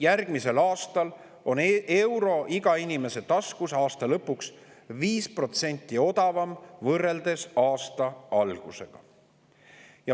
Järgmise aasta lõpuks on euro iga inimese taskus 5% odavam võrreldes aasta algusega.